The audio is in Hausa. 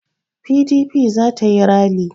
PDP za ta yi ralli.